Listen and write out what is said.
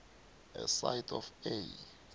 aside of a